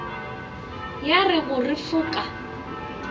ya go re fu ka